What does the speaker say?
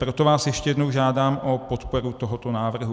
Proto vás ještě jednou žádám o podporu tohoto návrhu.